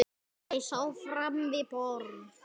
Karen sat áfram við borðið.